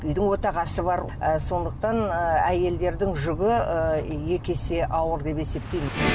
үйдің отағасы бар ы сондықтан ы әйелдердің жүгі ы екі есе ауыр деп есептеймін